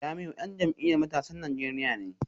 Jamiu dan jam’iyyar matasan Najeriya ne